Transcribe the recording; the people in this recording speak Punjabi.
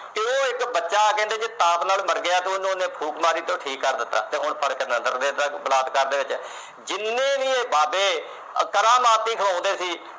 ਬੱਚਾ ਜੇ ਕਹਿੰਦੇ ਪਾਪ ਨਾਲ ਮਰ ਗਿਆ, ਉਹਨਾਂ ਨੇ ਫੂਕ ਮਾਰੀ ਤੇ ਠੀਕ ਕਰ ਦਿੱਤਾ ਤੇ ਹੁਣ ਫਰਕ ਆ ਬਲਾਤਕਾਰ ਦੇ ਵਿੱਚ। ਜਿੰਨੇ ਵੀ ਇਹ ਬਾਬੇ ਕਰਾਮਾਤੀ ਕਹਾਉਂਦੇ ਸੀ